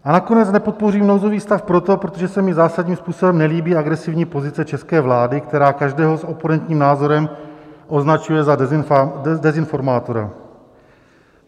A nakonec nepodpořím nouzový stav proto, protože se mi zásadním způsobem nelíbí agresivní pozice české vlády, která každého s oponentním názorem označuje za dezinformátora.